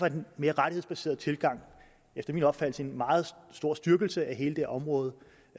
en mere rettighedsbaseret tilgang efter min opfattelse en meget stor styrkelse af hele det område